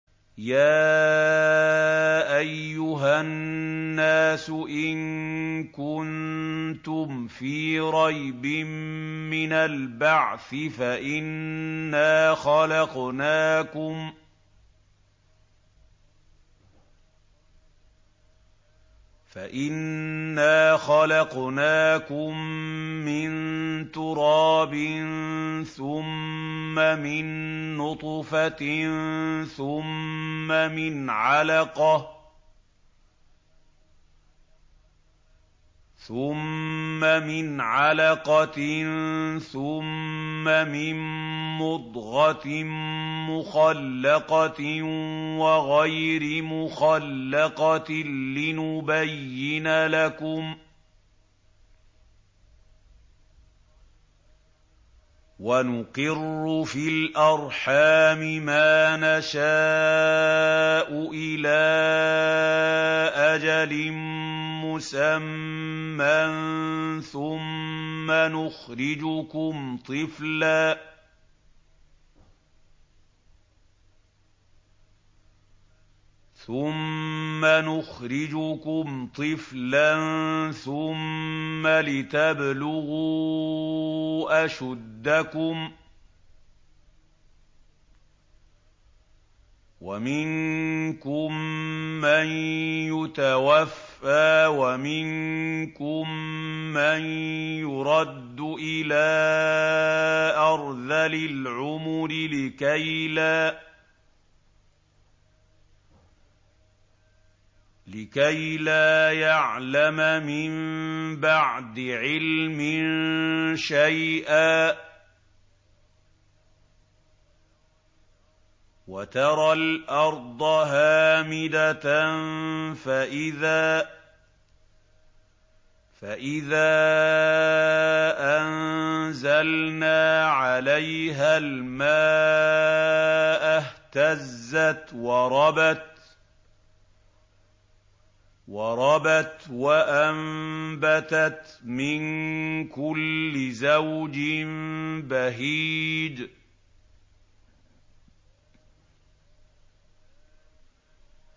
يَا أَيُّهَا النَّاسُ إِن كُنتُمْ فِي رَيْبٍ مِّنَ الْبَعْثِ فَإِنَّا خَلَقْنَاكُم مِّن تُرَابٍ ثُمَّ مِن نُّطْفَةٍ ثُمَّ مِنْ عَلَقَةٍ ثُمَّ مِن مُّضْغَةٍ مُّخَلَّقَةٍ وَغَيْرِ مُخَلَّقَةٍ لِّنُبَيِّنَ لَكُمْ ۚ وَنُقِرُّ فِي الْأَرْحَامِ مَا نَشَاءُ إِلَىٰ أَجَلٍ مُّسَمًّى ثُمَّ نُخْرِجُكُمْ طِفْلًا ثُمَّ لِتَبْلُغُوا أَشُدَّكُمْ ۖ وَمِنكُم مَّن يُتَوَفَّىٰ وَمِنكُم مَّن يُرَدُّ إِلَىٰ أَرْذَلِ الْعُمُرِ لِكَيْلَا يَعْلَمَ مِن بَعْدِ عِلْمٍ شَيْئًا ۚ وَتَرَى الْأَرْضَ هَامِدَةً فَإِذَا أَنزَلْنَا عَلَيْهَا الْمَاءَ اهْتَزَّتْ وَرَبَتْ وَأَنبَتَتْ مِن كُلِّ زَوْجٍ بَهِيجٍ